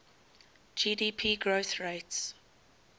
gdp growth rates